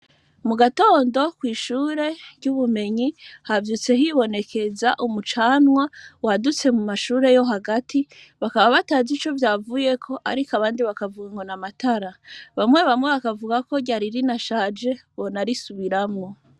Mugatondo ,kw'ishure ry'ubumenyi ,havyutse hibonekeza umucanwa wadutse mu mashure yo hagati bakaba batazi ico wavuyeko ,ariko abandi bakavuga ngo n'amatara ,bamwe bamwe bakavuga ko ryari rinashaje, bonarisubiramwo.